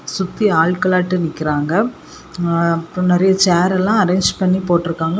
சுத்தி ஆள்களாட்ட நிக்கிறாங்க ஆ அப்றொ நறைய சேர்ரெல்லா அரேஞ்ச் பண்ணி போட்டிருக்காங்க.